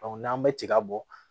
n'an bɛ tiga bɔ